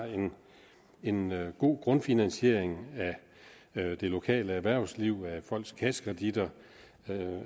en god grundfinansiering af det lokale erhvervsliv af folks kassekreditter